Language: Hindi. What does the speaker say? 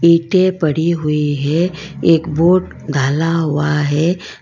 ईंटे पड़ी हुई है एक बोड ढाला हुआ है।